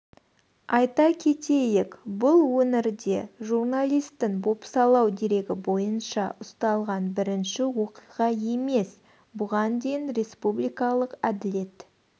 айта кетейік бұл өңірде журналистің бопсалау дерегі бойынша ұсталған бірінші оқиға емес бұған дейін республикалық әділет